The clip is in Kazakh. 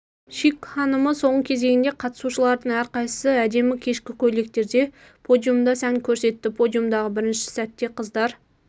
шик ханымы соңғы кезеңінде қатысушылардың әрқайсысы әдемі кешкі көйлектерде подиумда сән көрсетті подиумдағы бірінше сәтте қыздар